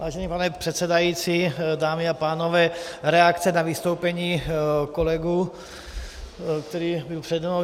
Vážený pane předsedající, dámy a pánové, reakce na vystoupení kolegy, který byl přede mnou.